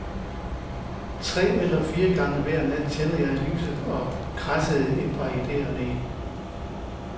Tre eller fire gange hver nat tændte jeg lyset og kradsede et par idéer ned.